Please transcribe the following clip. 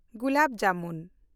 gulab jamun